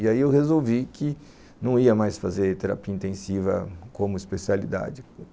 E aí eu resolvi que não ia mais fazer terapia intensiva como especialidade.